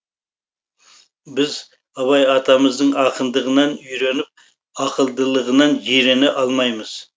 біз абай атамыздың ақындығынан үйреніп ақылдылығынан жирене алмаймыз